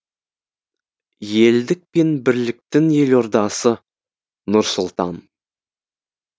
елдік пен бірліктің елордасы нұр сұлтан